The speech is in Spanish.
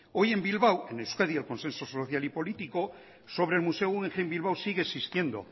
hoy en bilbao en euskadi el consenso social y político sobre el museo guggenheim bilbao sigue existiendo